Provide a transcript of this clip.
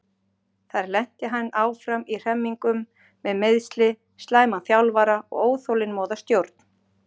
Þar lenti hann áfram í hremmingum með meiðsli, slæman þjálfara og óþolinmóða stjórn.